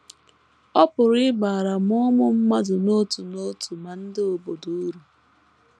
Ọ pụrụ ịbara ma ụmụ mmadụ n’otu n’otu ma ndị obodo uru.